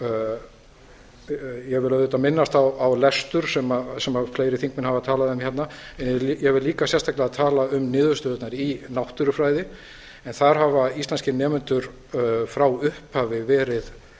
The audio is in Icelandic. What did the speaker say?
ég vil auðvitað minnast á lestur sem fleiri þingmenn hafa talað um hérna en ég vil líka sérstaklega tala um niðurstöðurnar í náttúrufræði en þar hafa íslenskir nemendur frá upphafi verið